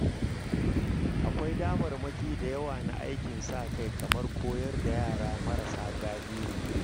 Akwai damarmaki da yawa na aikin sa-kai kamar koyar da yara marasa galihu.